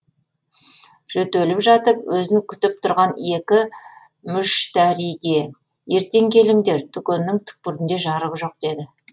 жөтеліп жатып өзін күтіп тұрған екі мүштәриге ертең келіңдер дүкеннің түкпірінде жарық жоқ деді